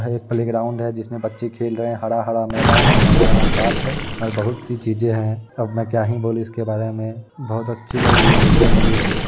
यह एक प्लेग्राउंड है जिसमे बच्चे खेल रहे है हरा हरा मैदान है हरा हरा घास है और बहुत सी चीजे है अब में क्या ही बोलू इसके बारे मे बहुत अच्छी लग रही है देखने मे यह भी।